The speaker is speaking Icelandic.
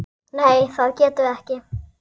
Nei það getum við ekki.